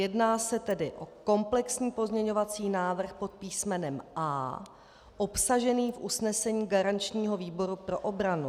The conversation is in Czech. Jedná se tedy o komplexní pozměňovací návrh pod písmenem A obsažený v usnesení garančního výboru pro obranu.